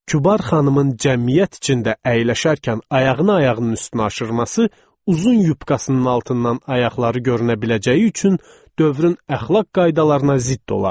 Kübar xanımın cəmiyyət içində əyləşərkən ayağını ayağının üstünə aşırması uzun yupkasının altından ayaqları görünə biləcəyi üçün dövrün əxlaq qaydalarına zidd olardı.